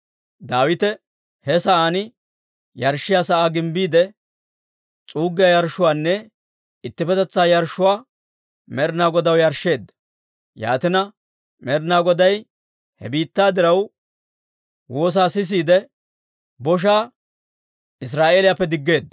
Daawite he sa'aan yarshshiyaa sa'aa gimbbiide, s'uuggiyaa yarshshuwaanne ittippetetsaa yarshshuwaa Med'inaa Godaw yarshsheedda; yaatina, Med'inaa Goday he biittaa diraw woosettiide woosaa sisiide, boshaa Israa'eeliyaappe diggeedda.